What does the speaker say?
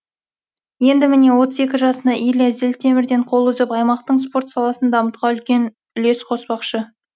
енді міне отыз екі жасында илья зілтемірден қол үзіп аймақтың спорт саласын дамытуға үлкен үлес қоспақшы